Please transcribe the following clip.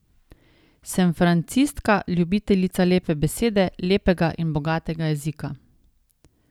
Sem francistka, ljubiteljica lepe besede, lepega in bogatega jezika.